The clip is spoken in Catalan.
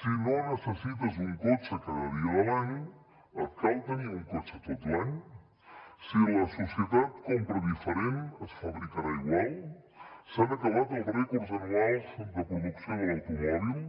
si no necessites un cotxe cada dia de l’any et cal tenir un cotxe tot l’any si la societat compra diferent es fabricarà igual s’han acabat els rècords anuals de producció de l’automòbil